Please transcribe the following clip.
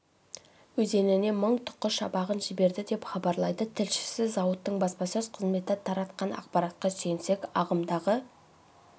өзеніне мың тұқы шабағын жіберді деп хабарлайды тілшісі зауыттың баспасөз қызметі таратақан ақпаратқа сүйенсек ағымдағы